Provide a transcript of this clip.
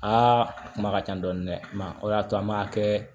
Aa a kuma ka ca dɔɔni dɛ o y'a to an m'a kɛ